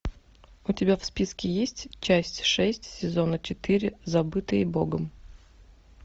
у тебя в списке есть часть шесть сезона четыре забытые богом